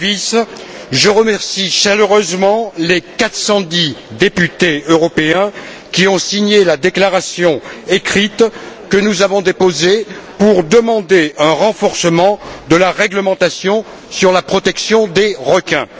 Davies, je remercie chaleureusement les 410 députés européens qui ont signé la déclaration écrite que nous avons déposée pour demander un renforcement de la réglementation sur la protection des requins.